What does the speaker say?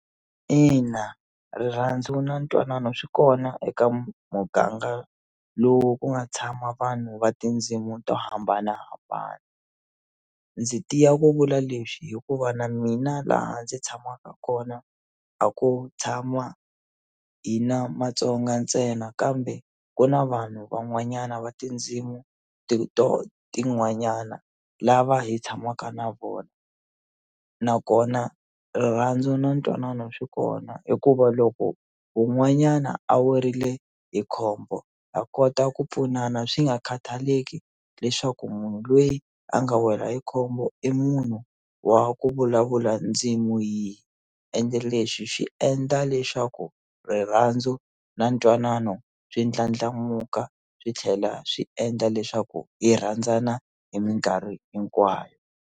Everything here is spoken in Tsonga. Ina rirhandzu na ntwanano swi kona eka muganga lowu ku nga tshama vanhu va tindzimu to hambanahambana ndzi tiya ku vula leswi hikuva na mina laha ndzi tshamaka kona a ku tshama hina Matsonga ntsena kambe ku na vanhu van'wanyana va tindzimu tin'wanyana lava hi tshamaka na vona nakona rirhandzu na ntwanano swi kona hikuva loko wun'wanyana a werile hi khombo ha kota ku pfunana swi nga khataleki leswaku munhu loyi a nga wela hi khombo i munhu wa ku vulavula ndzimu yihi ende leswi swi endla leswaku rirhandzu na ntwanano swi ndlandlamuka swi tlhela swi endla leswaku hi rhandzana hi minkarhi hinkwayo.